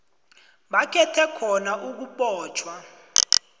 bakhethe khona ukubotjhwa